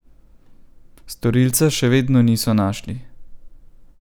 Storilca še vedno niso našli.